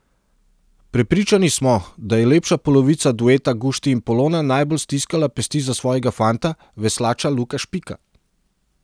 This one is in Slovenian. Prepričani smo, da je lepša polovica dueta Gušti in Polona najbolj stiskala pesti za svojega fanta, veslača Luka Špika.